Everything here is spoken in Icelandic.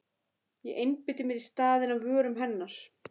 Ég einbeiti mér í staðinn að vörum hennar.